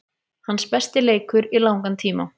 Hans besti leikur í langan tíma.